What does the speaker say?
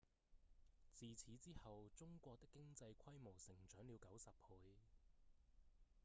自此之後中國的經濟規模成長了90倍